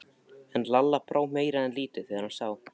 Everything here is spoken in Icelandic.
En Lalla brá meira en lítið þegar hann sá